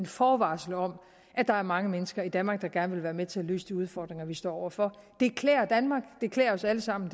forvarsel om at der er mange mennesker i danmark der gerne vil være med til at løse de udfordringer vi står over for det klæder danmark det klæder os alle sammen